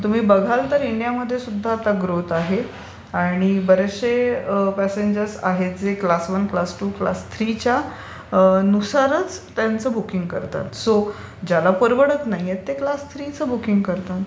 तुम्ही बघाल तर इंडियामध्ये सुद्धा आता ग्रोथ आहे आणि बरेचसे प्यासेंजर्स आहेत जे class one, class two, class three नुसरच ते त्यांचं बूकिंग करतात. सो ज्याला अप्रवडत नाहीये ते क्लास थ्रिचं बूकिंग करतात.